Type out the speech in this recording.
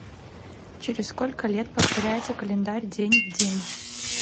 через сколько лет повторяется календарь день в день